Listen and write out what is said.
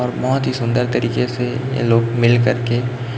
और बहुत ही सुंदर तरीके से ये लोग मिल कर के--